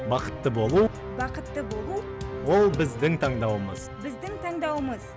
бақытты болу бақытты болу ол біздің таңдауымыз біздің таңдауымыз